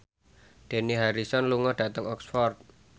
Dani Harrison lunga dhateng Oxford